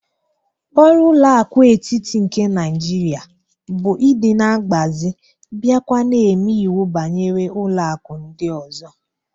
Oru ụlọ aku etiti nke Naijiria bu idi na agbazie bia kwa na eme iwu banyere ụlọ aku ndị ọzọ.